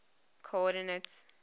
coordinates